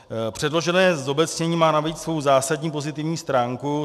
Předložené zobecnění má navíc svou zásadní pozitivní stránku.